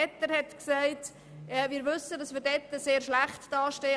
Egger hat gesagt, dass wir in diesem Punkt sehr schlecht dastehen.